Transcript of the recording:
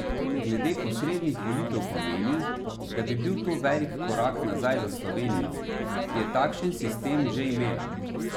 Glede posrednih volitev pa meni, da bi bil to velik korak nazaj za Slovenijo, ki je takšen sistem že imela.